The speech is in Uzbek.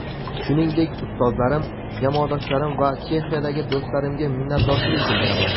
Shuningdek, ustozlarim, jamoadoshlarim va Chexiyadagi do‘stlarimga minnatdorchilik bildiraman.